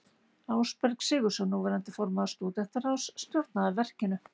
Ásberg Sigurðsson, núverandi formaður stúdentaráðs, stjórnaði verkinu.